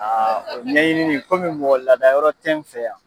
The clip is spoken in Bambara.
o ɲɛɲini komi mɔgɔ lada yɔrɔ tɛ n fɛ yan